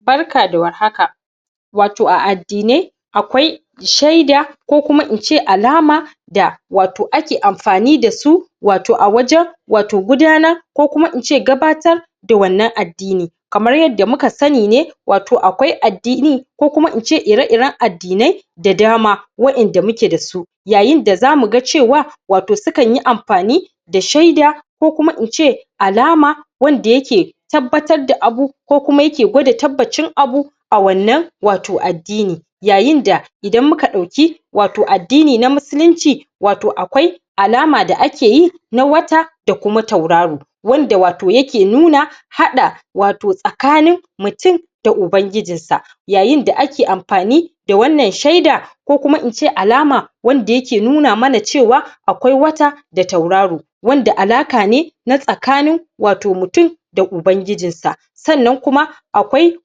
Barka da war haka wato a addinai akwai shaida, ko kuma ince alama da wato ake anfani dasu wato a wajen wato gudanar kokuma ince gabatar da wannan addini. Kamar yadda muka sani ne wato akwai addini ko kuma ince ire iren addinai da dama Wa'inda muke dasu. Yayinda zamuga cewa wato sukanyi amfani da shaida ko kuma ince alama wanda yake tabbatar da abu ko kuma yake gwada tabbacin abu a wannan wato addini. Yayin da idan muka dauki wato addini na musulinci wato akwai alama da akeyi na wata da kuma tauraro wanda wato yake nuna haɗa wato tsakanin mutun da ubangijin sa. Yayin da ake anfani da wannan shaida ko kuma ince alama wanda yake nuna mana cewa akwai wata da tauraro. Wanda alaƙa ne na tsakanin wato mutun da ubangijin sa. Sannan kuma akwai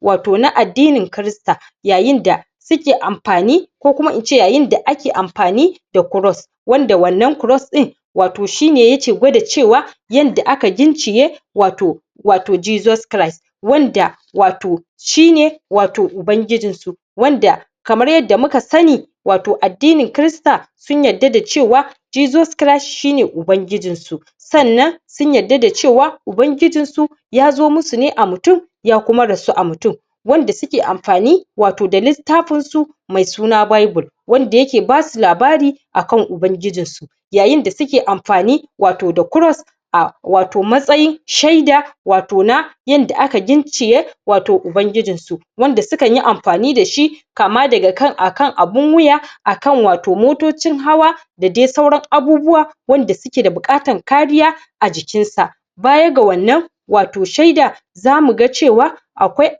wato na addinin krista. Yayin da suke amfani ko kuma ince yayinda ake amfani da kros. Wanda wannan kros din wato shine yake gwada cewa yanda aka gicciye wato wato Jesus Christ wanda wato shine wato ubangijin su. Wanda kamar yadda muka sani wato addinin krista sun yadda da cewa Jesus Christ shine ubangijin su. Sannan sun yadda da cewa ubangijin su yazo musu ne a mutum ya kuma rasu a mutum. Wanda suke amfani wato da littafin su me suna Bible. Wanda yake basu labari akan ubangijin su. Yayin da suke amfani wato da kros a wato matsayin shaida wato na yanda aka gicciye wato ubangijin su. Wanda sukanyi amfani dashi kama dakan akan abun wuya, akan wato motocin hawa dadai sauran abubuwa wanda suke da bukatan kariya a jikin sa. Baya ga wannan wato shaida zamuga cewa akwai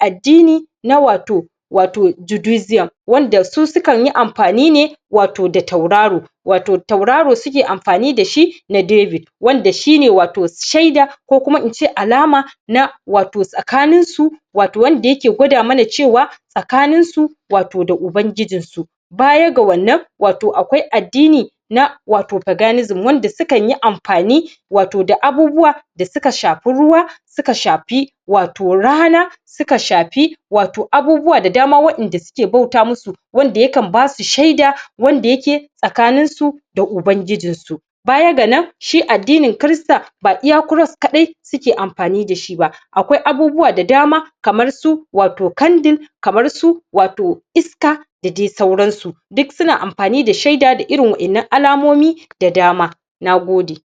addini na wato wato judusiyum wanda su sukanyi amfani ne wato da tauraro. Wato tauraro suke amfani dashi na David. Wanda shine wato shaida ko kuma ince alama na wato tsakanin su wato wanda yake gwada mana cewa tskaninsu wato da ubangijin su. Baya ga wannan wato akwai addini na wato Peganisim wanda sukanyi amfani wato da abubuwa da suka shafi ruwa, suka shafi wato rana, suka shafi wato abubuwa da dama wa'inda suke bauta musu wanda yakan basu shaida wanda yake tskanin su da ubangijin su. Baya ga nan shi addinin krista ba iya kros kaɗai suke amfani dashi ba akwai abubuwa da dama kamar su wato kandir kamarsu wato iska da dai suransu. Duk suna amfani da shaida da irin wa'innan alamomi da dama. Nagode.